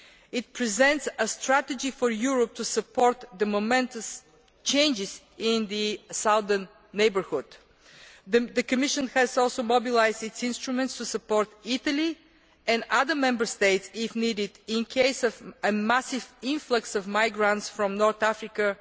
It presents a strategy for Europe to support the momentous changes in the southern neighbourhood. The Commission has also mobilised its instruments to support, if needed, Italy and other Member States if a massive influx of migrants from North Africa